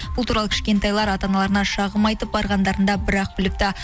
бұл туралы кішкентайлар ата аналарына шағым айтып барғандарында бір ақ біліпті